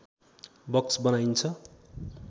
box बनाइन्छ